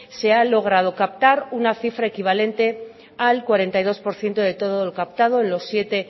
se ha logrado captar una cifra equivalente al cuarenta y dos por ciento de todo lo captado en los siete